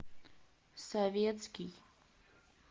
советский